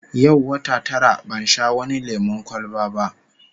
Yau wata tara ban sha wani lemon kwalba ba